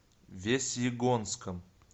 весьегонском